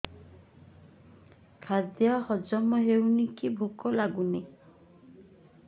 ଖାଦ୍ୟ ହଜମ ହଉନି କି ଭୋକ ଲାଗୁନି